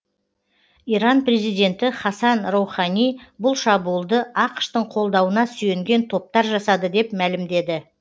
иран президенті хасан роухани бұл шабуылды ақш тың қолдауына сүйенген топтар жасады деп мәлімдеді